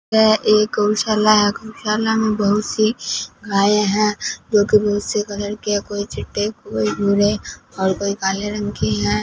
यह एक गौशाला है गौशाला में बहुत सी गाय हैं जो कि बहुत से कलर की हैं कोई चिट्टे कोई भूरे और कोई काले रंग की हैं।